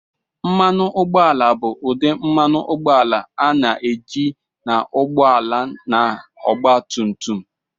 Mmanụ ụgbọala bụ ụdị mmanụ ụgbọala a na-eji n'ụgbọ ala na ọgba tum tum.